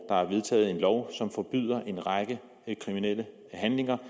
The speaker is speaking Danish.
er vedtaget en lov som forbyder en række handlinger